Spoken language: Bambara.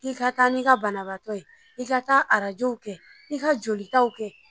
Ii ka taa n'i ka banabagatɔ ye, i ka taa arajɔw kɛ, i ka jolitaw kɛ.